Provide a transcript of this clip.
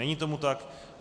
Není tomu tak.